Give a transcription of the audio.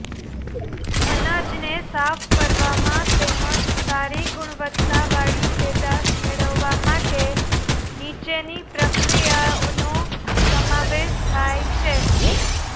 અનાજને સાફ કરવામાં તેમજ સારી ગુણવત્તાવાળી પેદાશ મેળવવા માટે નીચેની પ્રક્રિયાઓનો સમાવેશ થાય છે